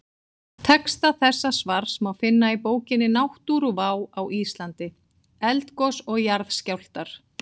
Texta þessa svars má finna í bókinni Náttúruvá á Íslandi: Eldgos og jarðskjálftar.